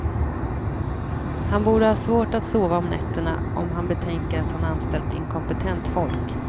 Han borde ha svårt att sova om nätterna om han betänker att han anställt inkompetent folk.